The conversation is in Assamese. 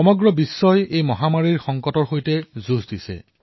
সমগ্ৰ বিশ্বই এই মহামাৰীৰ সংকটৰ সৈতে যুঁজি আছে